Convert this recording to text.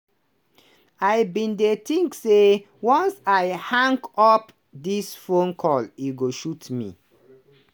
i bin dey think say once i hang up dis phone call e go shoot me.